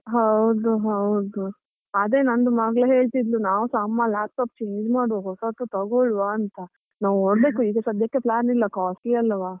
ಹೌದು ಹೌದು, ಅದೇ ನಂದು ಮಗಳು ಹೇಳ್ತಿದ್ಲು ನಾವುಸಾ ಅಮ್ಮ laptop change ಮಾಡುವ ಹೊಸತು ತಗೊಳುವ ಅಂತ ನೋಡ್ಬೇಕು ಈಗ ಸದ್ಯಕ್ಕೆ plan ಇಲ್ಲ costly ಅಲ್ಲವಾ.